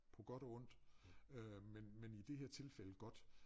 På godt og ondt øh men men i det her tilfælde godt